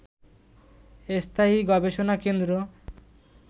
স্থায়ী গবেষণা কেন্দ্র